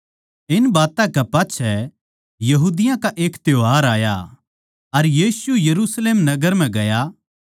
इन बात्तां कै पाच्छै यहूदियाँ का एक त्यौहार आया अर यीशु यरुशलेम नगर नै गया